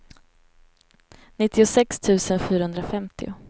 nittiosex tusen fyrahundrafemtio